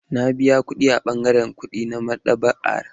Na biya kuɗi a ɓangaren kuɗi na maɗaba'ar.